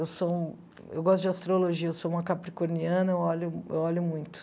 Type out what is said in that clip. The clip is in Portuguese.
Eu sou eu gosto de astrologia, eu sou uma capricorniana, eu olho eu olho muito.